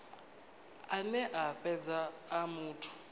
ane a fhedza a muthu